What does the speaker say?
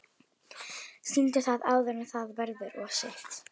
Sýndu það áður en það verður of seint.